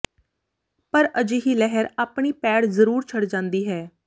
ਪਰ ਅਜਿਹੀ ਲਹਿਰ ਆਪਣੀ ਪੈੜ ਜ਼ਰੂਰ ਛੱਡ ਜਾਂਦੀ ਹੈ